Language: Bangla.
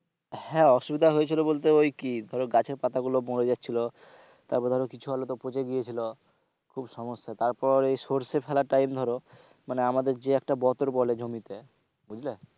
হ্যাঁ অসুবিধা হয়েছিল বলতে ওই কি ধরো গাছের পাতাগুলো মরে যাচ্ছিল তারপরে ধরো কিছু আলু তো পচে গিয়েছিল খুব সমস্যা। তারপরে ওই সরষে ফেলার time ধরো মানে আমাদের যে একটা বতর বলে জমিতে বুঝলে,